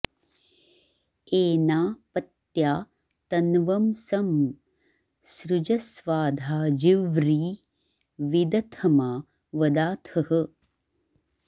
एना पत्या तन्वं सं सृजस्वाधा जिव्री विदथमा वदाथः